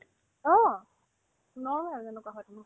অ, normal যেনেকুৱা হয় তোমাৰ